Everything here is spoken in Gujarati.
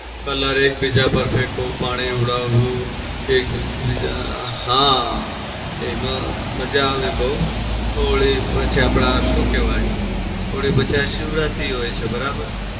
colour એકબીજા પર ફેંકો, પાણી ઉડાવવું એકબીજા હા એમાં મજા આવે બઉ. હોળી આપડેશું કેવાય હોળી પછી શિવરાત્રી હોય છે બરાબર?